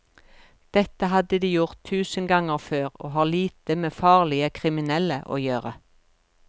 Dette hadde de gjort tusen ganger før og har lite med farlige kriminelle å gjøre.